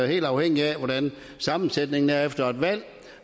helt afhængigt af hvordan sammensætningen i salen er efter et valg